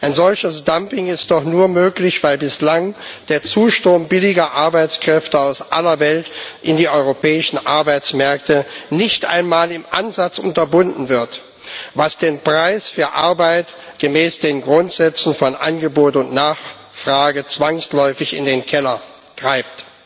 Ein solches Dumping ist doch nur möglich, weil bislang der Zustrom billiger Arbeitskräfte aus aller Welt in die europäischen Arbeitsmärkte nicht einmal im Ansatz unterbunden wird, was den Preis für Arbeit gemäß den Grundsätzen von Angebot und Nachfrage zwangsläufig in den Keller treibt.